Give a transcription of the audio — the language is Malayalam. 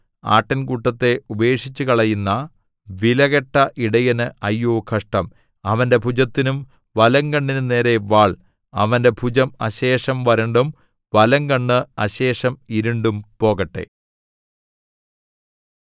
ആട്ടിൻകൂട്ടത്തെ ഉപേക്ഷിച്ചുകളയുന്ന വിലകെട്ട ഇടയന് അയ്യോ കഷ്ടം അവന്റെ ഭുജത്തിനും വലംകണ്ണിനും നേരെ വാൾ അവന്റെ ഭുജം അശേഷം വരണ്ടും വലംകണ്ണ് അശേഷം ഇരുണ്ടും പോകട്ടെ